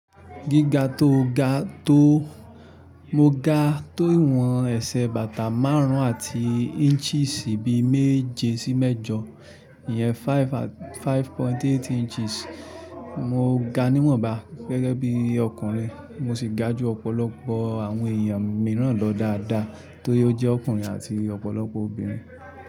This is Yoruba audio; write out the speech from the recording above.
Gíga tó ga tó, mo ga tó ìwọ̀n ẹ̀sẹ̀ bàtà márùn-ún àti inches bí méje sí mẹ́jọ, ìyẹn five point eight inches. Mo ga níwọ̀nba gẹ́gẹ́ bí ọkùnrin, mo sì ga ju ọ̀pọ̀lọpọ̀ àwọn èèyàn mìíràn lọ dáadáa tó yóò jẹ́ ọkùnrin àti ọ̀pọ̀lọpọ̀ obìnrin.